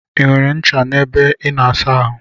I nwere ncha ebe I na asa ahụ?